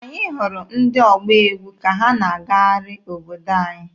Anyị hụrụ ndị ọgba egwu ka ha na-agagharị obodo anyị.